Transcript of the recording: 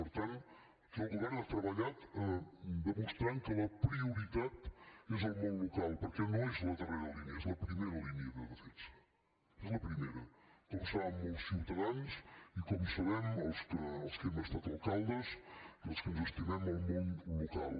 per tant el govern ha treballat demostrant que la prioritat és el món local perquè no és la darrera línia és la primera línia de defensa és la primera com saben molts ciutadans i com sabem els que hem estat alcaldes i els que ens estimem el món local